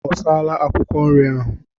Ọ saala akwụkwọ nri ahụ?